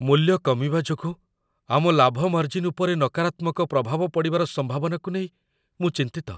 ମୂଲ୍ୟ କମିବା ଯୋଗୁଁ ଆମ ଲାଭ ମାର୍ଜିନ୍ ଉପରେ ନକାରାତ୍ମକ ପ୍ରଭାବ ପଡ଼ିବାର ସମ୍ଭାବନାକୁ ନେଇ ମୁଁ ଚିନ୍ତିତ।